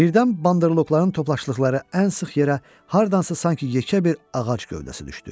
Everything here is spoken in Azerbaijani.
Birdən Bandırloqların toplaşdıqları ən sıx yerə hardansa sanki yekə bir ağac gövdəsi düşdü.